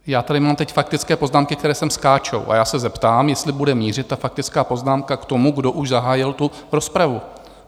Já tady mám teď faktické poznámky, které sem skáčou, a já se zeptám, jestli bude mířit, ta faktická poznámka, k tomu, kdo už zahájil tu rozpravu.